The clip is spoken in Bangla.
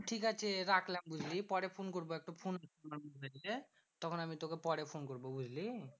ঠিকাছে রাখলাম বুঝলি? পরে ফোন করবো একটা তখন আমি তোকে পরে ফোন করবো, বুঝলি?